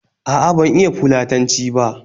A'a, ban iya Fulatanci ba